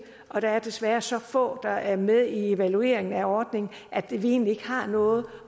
og der er desværre så få der er med i evalueringen af ordningen at vi egentlig ikke har noget